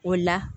O la